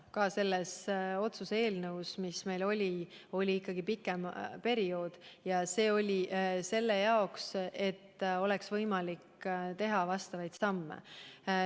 Ka selles otsuse eelnõus, mille me esitasime, oli märgitud ikkagi pikem periood, et oleks võimalik teha vastavaid samme.